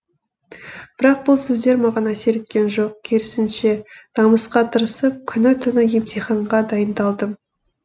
бірақ бұл сөздер маған әсер еткен жоқ керісінше намысқа тырысып күні түні емтиханға дайындалдым